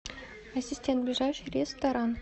ассистент ближайший ресторан